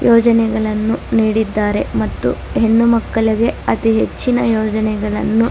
ಯೋಜನೆಗಳನ್ನು ನೀಡಿದ್ದಾರೆ ಮತ್ತು ಹೆಣ್ಣು ಮಕ್ಕಳಿಗೆ ಅತಿ ಹೆಚ್ಚಿನ ಯೋಜನೆಗಳನ್ನು --